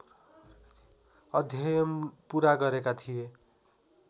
अध्ययन पुरा गरेका थिए